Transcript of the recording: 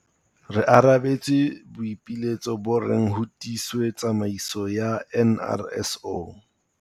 Re arabetse boipiletso bo reng ho tiiswe tsamaiso ya NRSO.